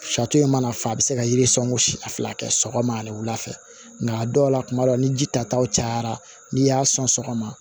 Fatɔ ye i mana fa a bi se ka yiri sɔn a fila kɛ sɔgɔma ani wula fɛ nka a dɔw la kuma dɔw ni ji tataw cayara n'i y'a sɔn sɔgɔma